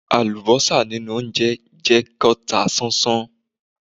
Àlùbọ́sà nínú óńjẹ jẹ́ kán ta sánsán.